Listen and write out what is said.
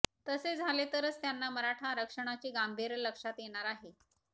तसे झाले तरच त्यांना मराठा आरक्षणाचे गांभीर्य लक्षात येणार आहे